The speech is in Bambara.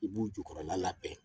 I b'u jukɔrɔla labɛn